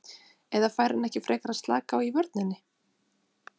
Eða fær hann ekki frekar að slaka á í vörninni?